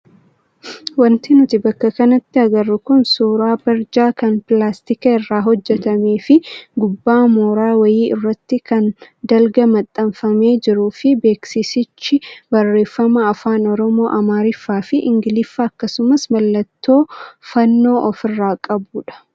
Wanti nuti bakka kanatti agarru kun suuraa barjaa kan pilaastika irraa hojjatamee fi gubbaa mooraa wayii irratti kan dalga maxxanfamee jiruu fi beeksisichi barreeffama afaan oromoo, amaariffaa fi ingiliffa akkasumas mallattoo fannoo ofirraa qaba.